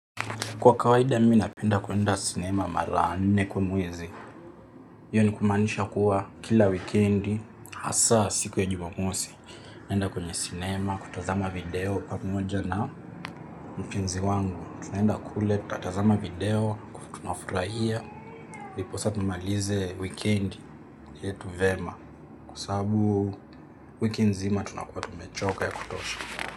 Kwa kawaida mimi napenda kuenda sinema mara nne kwa mwezi Iyo ni kumaanisha kuwa kila wikendi hasaa siku ya jumamosi naenda kwenye sinema, kutazama video pamoja na mpenzi wangu Tunaenda kule, tatazama video, kutunafurahia ndiposa tumalize wikendi yetu vema Kwa sababu wiki nzima tunakuwa tumechoka ya kutosha.